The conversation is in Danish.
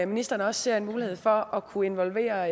ministeren også ser en mulighed for at kunne involvere